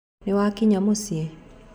Nĩwakinya mũcĩĩ?